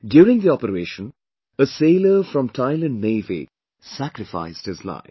During the operation, a sailor from Thailand Navy sacrificed his life